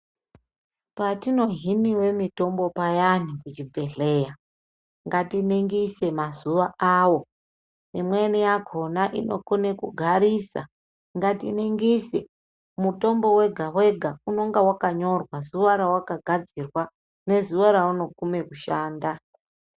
Patizohiniwe mitombo payani kuchibhedhleya, ngatiningise mazuwa awo, imweni yakona inokone kugarisa, ngatiningise. Mutombo wega-wega unonga wakanyorwa zuwa rawakagadzirwa, nezuwa raunogume kushanda.